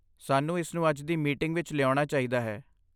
ਸਾਨੂੰ ਇਸ ਨੂੰ ਅੱਜ ਦੀ ਮੀਟਿੰਗ ਵਿੱਚ ਲਿਆਉਣਾ ਚਾਹੀਦਾ ਹੈ।